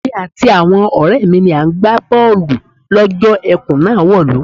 Èmi àti àwo̩n ò̩ré̩ mi ni à ń gbá bó̩ò̩lù ló̩jó̩ e̩kùn náà wò̩lú.